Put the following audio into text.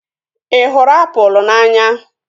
Ị hụrụ apụl n'anya?